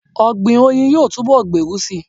Ọ̀gbìn oyin yóò túnbọ̀ gbèrú síi.